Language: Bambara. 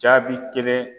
Jaabi kelen